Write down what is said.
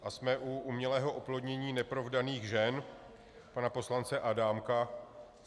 A jsme u umělého oplodnění neprovdaných žen pana poslance Adámka.